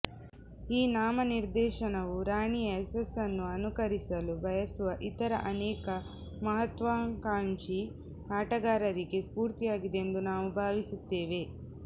ಈ ನಾಮ ನಿರ್ದೇಶನವು ರಾಣಿಯ ಯಶಸ್ಸನ್ನು ಅನುಕರಿಸಲು ಬಯಸುವ ಇತರ ಅನೇಕ ಮಹತ್ವಕಾಂಕ್ಷಿ ಆಟಗಾರರಿಗೆ ಸ್ಫೂರ್ತಿಯಾಗಿದೆ ಎಂದು ನಾವು ಭಾವಿಸುತ್ತೇವೆ